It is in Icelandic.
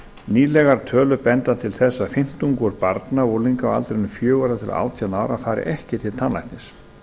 nýlegar tölur benda til þess að fimmtungur barna og unglinga á aldrinum fjögurra til átján ára fari ekki til tannlæknis